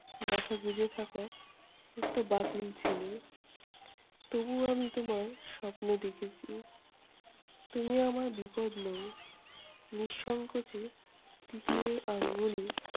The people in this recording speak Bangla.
মাথা গুঁজে থাকা একটা বাতিল ছেলে। তবু আমি তোমার স্বপ্ন দেখেছি। তুমি আমার বিপদ নও। নিঃসঙ্কোচে তিতিরের আঙ্গুলে